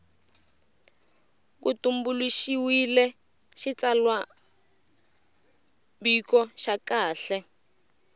ku tumbuluxiwile xitsalwambiko xa kahle